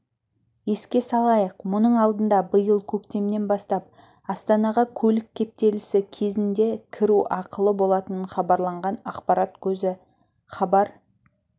еске салайық мұның алдында биыл көктемнен бастап астанаға көлік кептелісі кезіндекіру ақылы болатыныхабарланған ақпарат көзі хабар